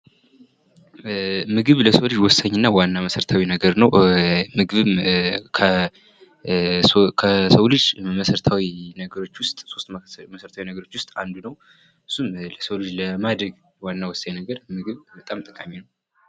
ምግብ ለሰው ልጅ ወሳኝና መሠረታዊ ነገር ነው ምግብ ለሰው ልጅ ከሦስት መሰረታዊ ነገሮች ውስጥ አንዱ ነው የሰው ልጅ ለማደግ በጣም ጠቃሚ ነው።